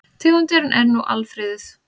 Tegundin er nú alfriðuð.